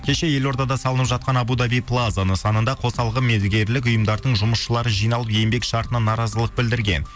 кеше елордада салынып жатқан абу даби плаза нысанында қосалқы мердігерлік ұйымдардың жұмысшылары жиналып еңбек шартына наразылық білдірген